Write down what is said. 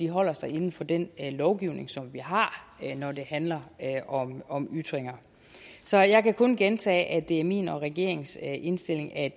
holder sig inden for den lovgivning som vi har når det handler om ytringer så jeg kan kun gentage at det er min og regeringens indstilling at